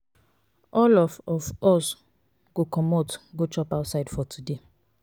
all of of us go comot go chop outside for today.